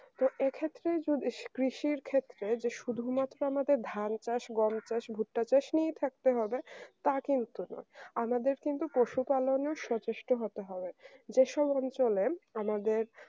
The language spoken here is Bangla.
তো এক্ষেত্রে যদি কৃষির ক্ষেত্রে যে শুধুমাত্র আমাদের ধান চাষ গম চাষ ভুট্টা চাষ নিয়ে থাকতে হবে তা কিন্তু না আমাদের কিন্তু পশুপালন সচেষ্ট হতে হবে যেসব অঞ্চলে আমাদের